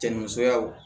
Cɛ ni musoya